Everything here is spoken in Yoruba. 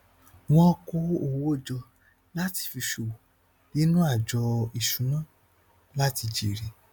wọn kó owó jọ láti fi ṣòwò nínú àjọ ìṣúná láti jèrè